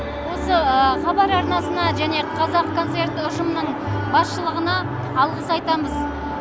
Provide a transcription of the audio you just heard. осы хабар арнасына және қазақконцерт ұжымының басшылығына алғыс айтамыз